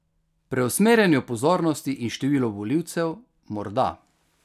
Preusmerjanju pozornosti in številu volivcev morda.